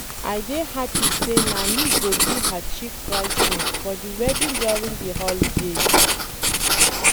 I dey happy say na me go be her Chief bride's maid for the wedding during the holiday